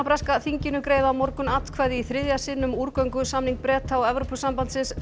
breska þinginu greiða á morgun atkvæði í þriðja sinn um úrgöngusamning Breta og Evrópusambandsins